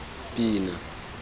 pina